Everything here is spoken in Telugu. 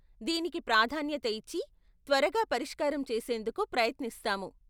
దీనికి ప్రాధాన్యత ఇచ్చి త్వరగా పరిష్కారం చేసేందుకు ప్రయత్నిస్తాము.